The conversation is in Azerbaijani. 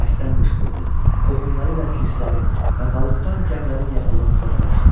Bərkdən qışqırdı, qohumları ilə pirsələrin və balıq tutan gəmilərin yaxınlığında dalaşdı.